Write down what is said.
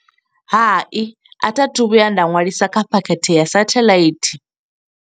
Hai, a tha thu vhuya nda ṅwalisa kha phakhethe ya sathaḽaithi.